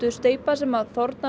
steypa sem þornar